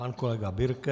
Pan kolega Birke.